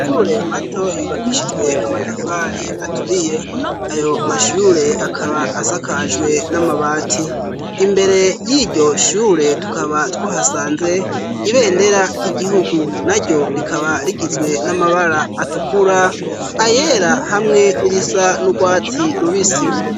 shule mato yubakishijwe amatafari aturiye ayo mashire akaba asakajwe n'amabati imbere y'iryo shure tukaba twohasanze ibendera ry'igihugu naryo rikaba rigizwe n'amabaraa atukura ayera hamwe n'irisa n'ukwati rubisi